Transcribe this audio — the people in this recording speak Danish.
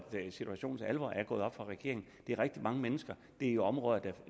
situationens alvor er gået op for regeringen det er rigtig mange mennesker det er i områder der